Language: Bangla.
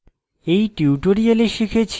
in tutorial শিখেছি